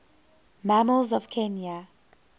mammals of kenya